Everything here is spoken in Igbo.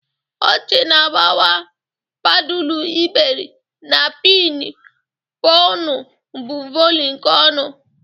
Ọchị na-agbawa, padulu iberi, na pin ponu bụ voli nke ọṅụ.